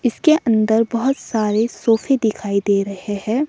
इसके अंदर बहुत सारे सोफे दिखाई दे रहे है।